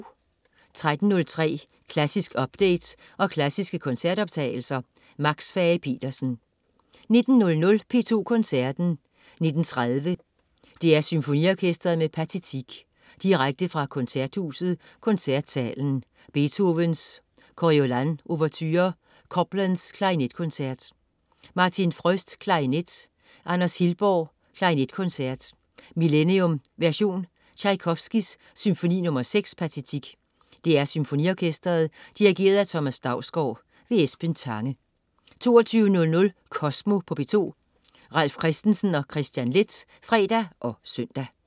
13.03 Klassisk update og klassiske koncertoptagelser. Max Fage-Petersen 19.00 P2 Koncerten. 19.30 DR SymfoniOrkestret med Pathétique. Direkte fra Koncerthuset, Koncertsalen. Beethoven: Coriolan ouverture. Copland: Klarinetkoncert. Martin Fröst, klarinet. Anders Hillborg: Klarinetkoncert, Millennium version. Tjajkovskij: Symfoni nr. 6, Pathétique. DR SymfoniOrkestret Dirigent: Thomas Dausgaard. Esben Tange 22.00 Kosmo på P2. Ralf Christensen og Kristian Leth (fre og søn)